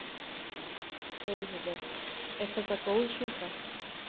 Elísabet: Er þetta góð súpa?